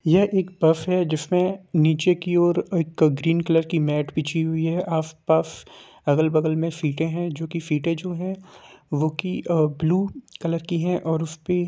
ये एक बस है जिसमें नीचे की और एक ग्रीन कलर की मैट बिछी हुई है आसपास अगल-बगल में सीटे है जो की सीटें जो है वो की अ-ब्लू कलर की है और उसपे--